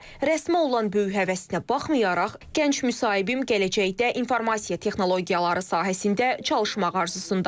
Rəsmi olan böyük həvəsinə baxmayaraq, gənc müsahibim gələcəkdə informasiya texnologiyaları sahəsində çalışmağa arzusundadır.